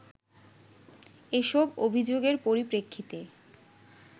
এসব অভিযোগের পরিপ্রেক্ষিতে